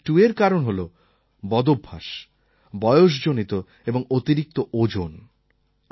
আর টাইপ2র কারণ হল বদভ্যাস বয়সজনিত এবং অতিরিক্ত ওজন